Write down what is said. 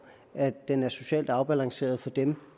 er at den er socialt afbalanceret for dem